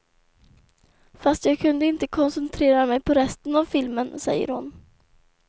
Fast jag kunde inte koncentrera mig på resten av filmen, säger hon.